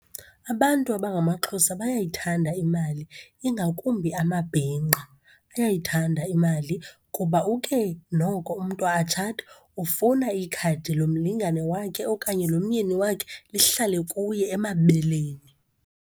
Abantu abangamaXhosa bayayithanda imali ingakumbi amabhinqa. Bayayithanda imali kuba uke noko umntu atshate ufune ikhadi lomlingane wakhe okanye lomyeni wakhe lihlale kuye emabeleni.